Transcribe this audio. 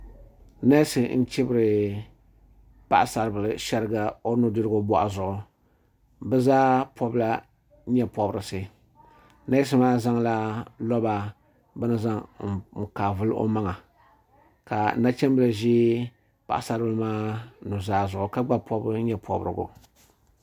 Nɛsi n chibiri paɣasaribili shɛriga o nu dirigu bɔɣu zuɣu bi zaa pɔbi la yɛɛ pɔbirisi nɛsi maa zaŋla lɔba bini n kaai vili o maŋa ka nachim bila zɛ paɣisaribila maa nu zaa zuɣu ka gba pɔbi yee pɔbirigu.